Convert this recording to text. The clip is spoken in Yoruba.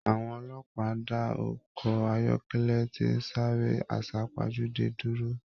Àwọn ọlọ́pàá da ọkọ ayọkẹlẹ ti n sáré asapajude dúró.